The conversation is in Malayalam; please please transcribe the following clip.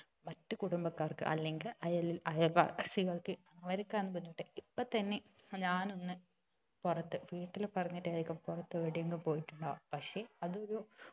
മറ്റ് കുടുംബക്കാർക്ക് അല്ലങ്കില് അയൽ അയൽവാസികൾക്ക് അവർക്കാണ് ബുദ്ധിമുട്ട് ഇപ്പൊ തന്നെ ഞാൻ ഒന്ന് പുറത്ത് വീട്ടിൽ പറഞ്ഞിട്ടായിരിക്കും പുറത്ത് എവിടെങ്കിലും പോയിട്ടുണ്ടാവ പക്ഷെ അത് ഒരു